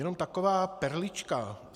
Jenom taková perlička.